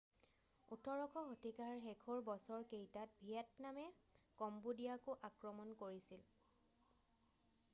18শ শতিকাৰ শেষৰ বছৰ কেইটাত ভিয়েটনামে কম্বোডিয়াকো আক্ৰমণ কৰিছিল